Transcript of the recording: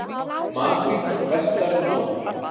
Makríll vestar en áður